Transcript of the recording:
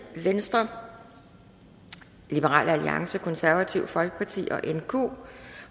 venstre liberal alliance det konservative folkeparti